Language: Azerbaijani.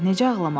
Necə ağlamasın?